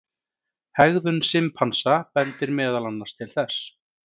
Hegðun simpansa bendir meðal annars til þess.